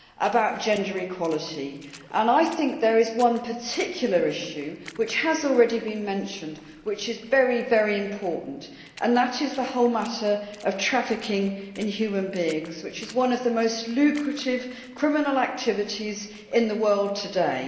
about gender equality. I think there is one particular issue, which has already been mentioned, which is very important that is the whole matter of trafficking in human beings, which is one of the most lucrative criminal activities in the world today.